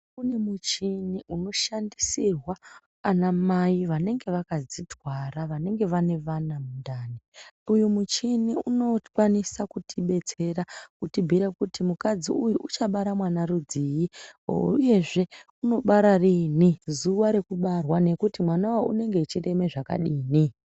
Kune muchini uno shandisirwa ana mai vanenge vakadzi twara vanenge vane vana mundani uyu muchini uno kwanisa kuti betsera kuti bhuyira kuti mukadzi uyu ucha bara mwana rudzi uyezve uno bara riini zuva reku barwa nekuti mwanawo unenge echi reme zvakadini.